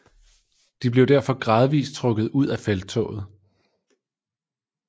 De blev derfor gradvis trukket ud af felttoget